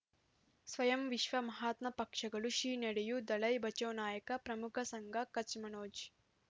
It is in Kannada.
ಸ್ವಯಂ ವಿಶ್ವ ಮಹಾತ್ಮ ಪಕ್ಷಗಳು ಶ್ರೀ ನಡೆಯೂ ದಲೈ ಬಚೌ ನಾಯಕ ಪ್ರಮುಖ ಸಂಘ ಕಚ್ ಮನೋಜ್